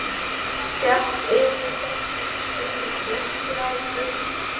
Hélt yfir þeim umvöndunarræður.